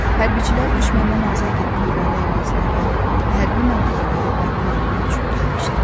Hərbçilər düşməndən azad etdikləri ərazilərə hərbi məntəqələri bərpa etmək üçün gəlmişdilər.